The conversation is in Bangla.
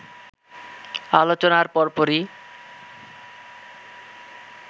আলোচনার পরপরই